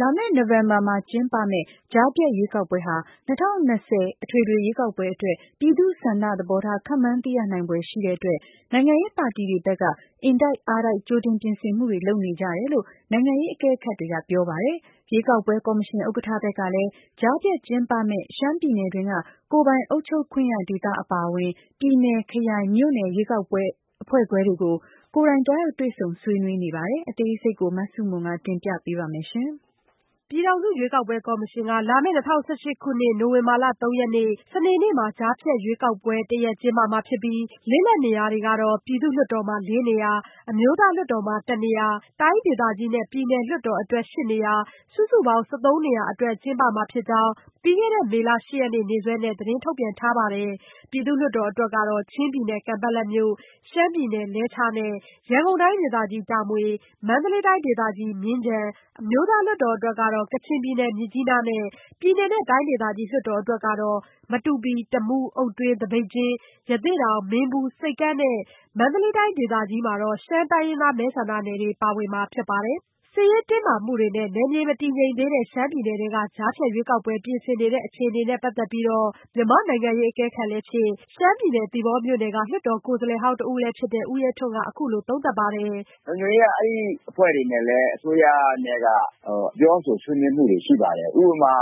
လာမယ့်နိုဝင်ဘာမှာကျင်းပမယ့် ကြားဖြတ်ရွေးကောက်ပွဲဟာ ၂၀၂၀ အထွေထွေရွေးကောက်ပွဲ အတွက် ပြည်သူ့ဆန္ဒသဘောထား ခန့်မှန်း သိရနိုင်ဖွယ်ရှိတဲ့အတွက် နိုင်ငံရေးပါတီတွေဘက်ကတော့ အင်တိုက်အားတိုက် ကြိုတင်ပြင်ဆင်မှုတွေလုပ်နေကြတယ်လို့ နိုင်ငံရေးအကဲခတ်ကပြောပါတယ်။ ရွေးကောက်ပွဲကော်မရှင်ဥက္ကဋ္ဌဘက်ကလည်း ကြားဖြတ်ကျင်းပမယ့် ရှမ်းပြည်နယ်တွင်းက ကိုယ်ပိုင်အုပ်ချုပ်ခွင့်ရဒေသအပါအဝင်ပြည်နယ်၊ ခရိုင်၊မြို့နယ် ရွေးကော်အဖွဲ့ခွဲတွေကို ကိုယ်တိုင် သွားရောက်တွေ့ဆုံဆွေးနွေးနေပါတယ်။ အသေးစိတ် မဆုမွန် တင်ပြပေးပါမယ်။ ပြည်ထောင်စုရွေးကောက်ပွဲကော်မရှင်က လာမယ့် ၂၀၁၈ခုနှစ် နိုဝင်ဘာလ ၃ရက်နေ့ စနေနေ့မှာ့ကြားဖြတ်ရွေးကောက်ပွဲတရပ် ကျင်းပမှာဖြစ်ပြိး လစ်လပ်နေရာတွေကတော့ ပြည်သူ့လွှတ်တော်မှာ ၄နေရာ၊ အမျိုးသားလွှတ်တော်မှာ ၁နေရာ၊ တိုင်းဒေသကြီးနဲ့ ပြည်နယ်လွှတ်တော်အတွက် ၈နေရာ စုစုပေါင်း ၁၃နေရာ အတွက် ကျင်းပမှာဖြစ်ကြောင်း မေလ ၈ရက်နေ့ နေ့စွဲနဲ့ သတင်းထုတ်ပြန်ထားပါတယ်။ ပြည်သူ့လွှတ်တော်အတွက်ကတော့ ချင်းပြည်နယ် ကန်ပက်လက်၊ ရှမ်းပြည်နယ် လဲချား၊ ရန်ကုန်တိုင်းဒေသကြီး တာမွေ၊ မန္တလေးတိုင်းဒေသကြီးမြင်းခြံ၊ အမျိုးသားလွှတ်တော်အတွက် ကချင်ပြည်နယ်မြစ်ကြီးနားနဲ့ ပြည်နယ်နဲ့ တိုင်းဒေသကြီး လွှတ်တော်အတွက် မတူပီ၊ တမူး၊ အုတ်တွင်း၊ သပိတ်ကျင်း၊ ရသေ့တောင်၊ မင်းဘူး၊ ဆိပ်ကမ်းနဲ့ မန္တလေးတိုင်းဒေသကြီးက ရှမ်းတိုင်းရင်းသားမဲဆန္ဒနယ်တွေ ပါဝင်မှာဖြစ်ပါတယ်။ စစ်ရေးတင်းမာမှုတွေနဲ့ နယ်မြေမတည်ငြိမ်မှုရှိတဲ့ရှမ်းပြည်နယ်ထဲက ကြားဖြတ်ရွေးကောက်ပွဲ ပြင်ဆင်နေတဲ့အခြေအနေနဲ့ပတ်သက်ပြီး မြန်မာ့နိုင်ငံရေးအကဲခတ်လည်းဖြစ် ရှမ်းပြည်နယ် သီပေါမြို့နယ်က လွှတ်တော်ကိုယ်စားလှယ်ဟောင်းတဦးဖြစ်တဲ့ ဦးရဲထွန်းက အခုလိုသုံးသပ်ပါတယ်။ "လုံခြုံရေးက အဲဒီအဖွဲ့တွေနဲ့လည်း အစိုးရနဲ့က ပြောဆိုဆွေးနွေးမှုတွေရှိပါတယ်။ ဥပမာ